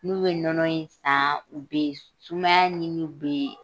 N'u be nɔnɔ in san, u be s sumaya ɲini bee